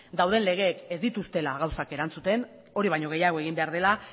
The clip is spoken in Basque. dauden legeek ez dituztela gauzak erantzuten hori baino gehiago egin behar dela